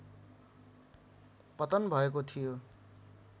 पतन भएको थियो